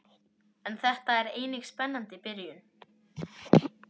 En þetta er einnig spennandi byrjun.